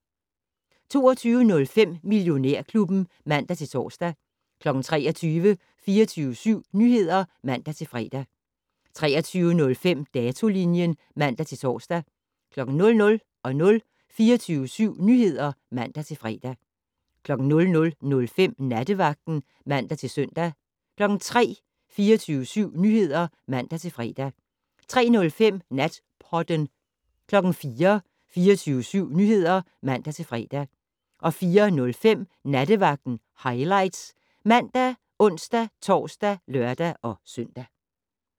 22:05: Millionærklubben (man-tor) 23:00: 24syv Nyheder (man-fre) 23:05: Datolinjen (man-tor) 00:00: 24syv Nyheder (man-fre) 00:05: Nattevagten (man-søn) 03:00: 24syv Nyheder (man-fre) 03:05: Natpodden 04:00: 24syv Nyheder (man-fre) 04:05: Nattevagten Highlights ( man, ons-tor, lør-søn)